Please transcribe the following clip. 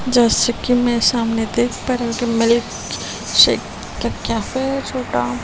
जैसे कि मैं सामने देख पा रही हूं कि मिल्क शेक का कैफे --